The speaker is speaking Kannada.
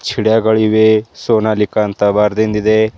ಚಿಡ್ಯಾ ಗಳಿವೆ ಸೋನಾಲಿಕ ಅಂತ ಬರೆದಿಂದಿದೆ.